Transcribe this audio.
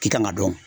I kan ka dɔn